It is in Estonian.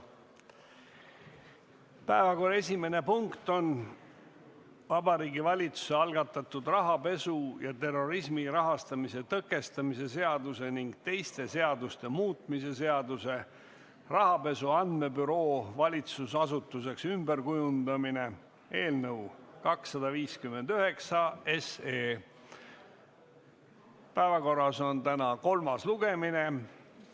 Päevakorra esimene punkt on Vabariigi Valitsuse algatatud rahapesu ja terrorismi rahastamise tõkestamise seaduse ning teiste seaduste muutmise seaduse eelnõu 259 kolmas lugemine.